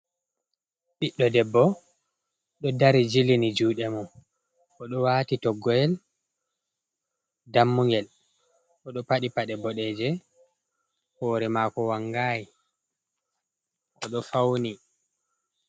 Ɓiɗɗo debbo do dari jilini jude mo o do wati toggowol dammugel o ɗo paɗi paɗe bodejum hore mako wangayi odo fauni.